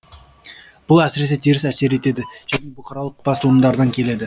бұл әсіресе теріс әсер етеді және бұқаралық басылымдардан келеді